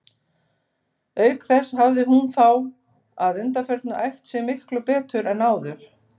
Auk þess hafði hún þá að undanförnu æft sig miklu betur en áður.